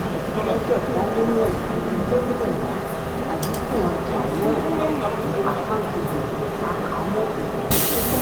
ẹ̀ẹ́dẹ́gbẹ̀ta lé mẹ́wàá lé mẹ́wàá àdínkù ọjà mẹ́wàá àkáǹtì gbèsè àkàá mọ́ ìbẹ̀rẹ̀.